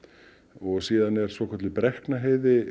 og svo er Brekknaheiði